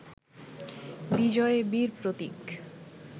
বিজয়ে বীর প্রতীক